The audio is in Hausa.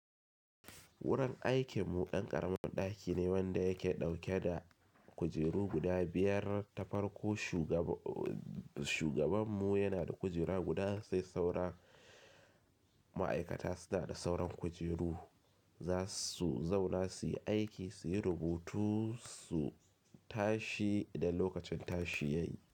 Wurin aikin mu ɗan ƙaramin ɗaki ne wanda yake ɗauke da kujeru guda biyar ta farko. Shugabanmu yana da kujera guda, sai saura ma'aikata suna da sauran kujeru. Zasu zauna su yi aiki, su yi rubutu, su tashi idan lokacin tashi ya yi.